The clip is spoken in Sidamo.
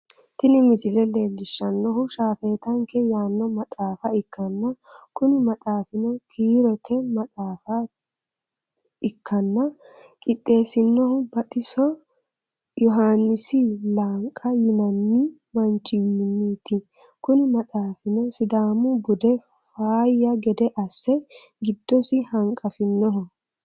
tini misile leellishshannohu shaafetanke yaanno maxaafa ikkanna, kuni maxaafino kiirote maxaafa ikkanna, qixxeessinohuno baxiso yyuhaannisi lenqa yinanni manchiwiinniti, kuni maxaafino sidaamu bude faayya gede asse giddosi hanqafinoho.